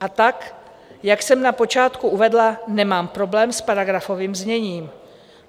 A tak, jak jsem na počátku uvedla, nemám problém s paragrafovým zněním.